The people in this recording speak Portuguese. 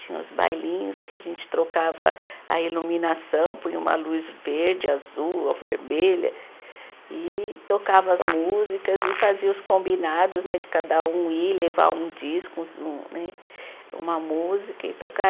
Tinha os bailinhos que a gente trocava a iluminação, põe uma luz verde, azul, ou vermelha, e tocava as músicas e fazia os combinados né de cada um ir, levar um disco, um uns né, uma música e tocar.